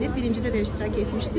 Birincidə də iştirak etmişdi.